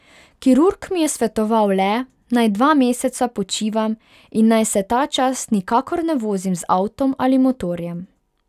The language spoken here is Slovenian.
Kirurg mi je svetoval le, naj dva meseca počivam in naj se ta čas nikakor ne vozim z avtom ali motorjem.